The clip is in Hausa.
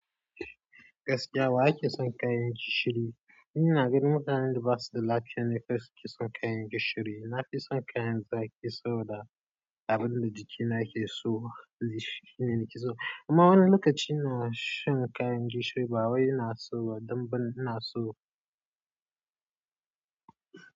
Gaskiya wa yake son ƙanshi? Ni ina ganin mutanen da ba su da lafiya ne kawai suke son kayan gishiri. Na fi son kayan zaƙi saboda abin da jikina ke so shi ne nake so. Amma wani lokaci ina shan kayan gishiri, ba wai ina so ba, don bana so ba.